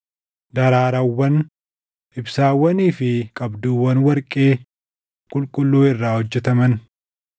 daraarawwan, ibsaawwanii fi qabduuwwan warqee qulqulluu irraa hojjetaman;